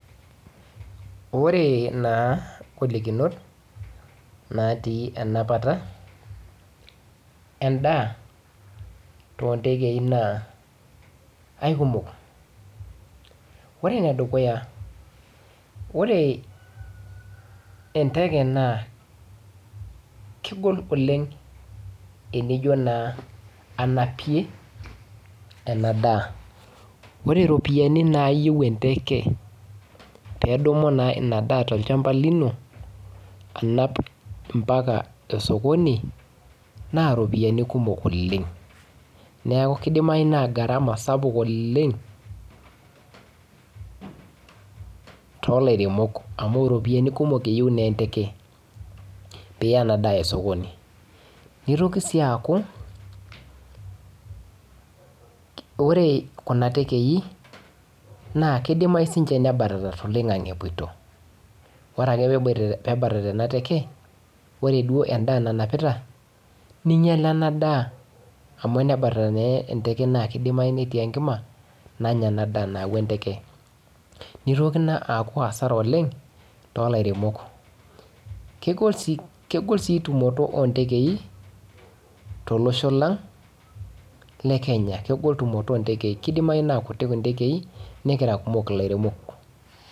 Ore naa ingolikinot naatii enapata endaa too ntekei naa aikumok. Ore ene dukuya, ore enteke naa kegol oleng enijo naa anapie enadaa. Ore iropiyiani naayieu enteke peedumu naa ina daa tolchamba lino anap ompaka esokoni naa irpoyiani kumok oleng. Neeku kidimayu naa gharama sapuk oleng toolsiremok amu iropiyiani kumok iyieu naa enteke piiya ena daa esokoni. Nitoki sii aaku ore kuna tekei naa kidimayu siininche nebatata toloing'ang'e epwoito. Ore ake peebatata ena take, ore duo endaa nanapita ninyala ena daa amu enebatata naa enteke naa kidimayu netii enkima nanya endaa nayauwu enteke. Nitoki naa aaku hasara oleng toolairemok. Kegol sii tumoto oo ntekei tolosho lang le Kenya. Kegol tumoto oo ntekei, kidimayu naa kuti intekei nekira kumok ilairemok